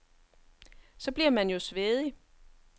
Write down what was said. Så bliver man jo svedig.